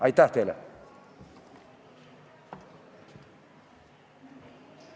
Aitäh teile!